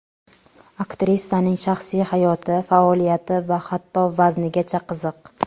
Aktrisaning shaxsiy hayoti, faoliyati va hatto vaznigacha qiziq.